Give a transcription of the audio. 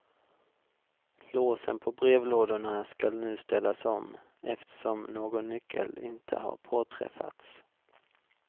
Låsen på brevlådorna skall nu ställas om, eftersom någon nyckel inte har påträffats.